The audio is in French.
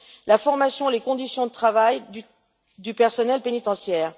la formation et les conditions de travail du personnel pénitentiaire.